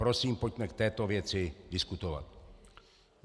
Prosím, pojďme k této věci diskutovat.